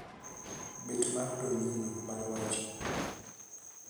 bet mar domino mar wacho